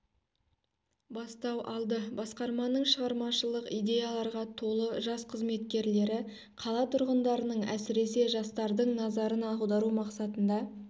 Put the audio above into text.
бастау алды басқарманың шығармашылық идеяларға толы жас қызметкерлері қала тұрғындарының әсіресе жастардың назарын аудару мақсатында